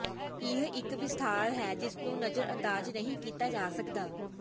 ਇਹ ਇੱਕ ਵਿਸਥਾਰ ਹੈ ਜਿਸਨੂੰ ਨਜ਼ਰਅੰਦਾਜ਼ ਨਹੀਂ ਕੀਤਾ ਜਾ ਸਕਦਾ